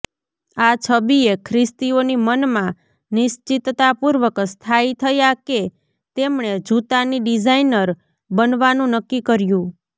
આ છબીએ ખ્રિસ્તીઓની મનમાં નિશ્ચિતતાપૂર્વક સ્થાયી થયા કે તેમણે જૂતાની ડિઝાઇનર બનવાનું નક્કી કર્યું